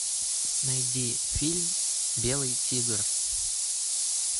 найди фильм белый тигр